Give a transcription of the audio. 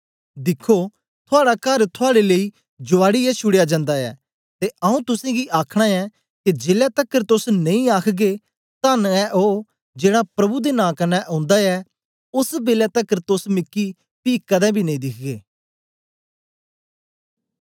दिखो थुआड़ा कर थुआड़े लेई जुआडीयै छुडया जंदा ऐ ते आऊँ तुसेंगी आखना ऐ के जेलै तकर तोस नेई आखगे तन्न ऐ ओ जेड़ा प्रभु दे नां कन्ने ओंदा ऐ ओस बेलै तकर तोस मिकी पी कदें बी नेई दिखगे